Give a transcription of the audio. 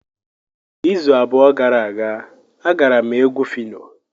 Izu abụọ gara aga, agara m egwu Phyno.